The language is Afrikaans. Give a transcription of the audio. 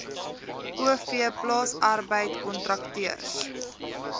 o v plaasarbeidkontrakteurs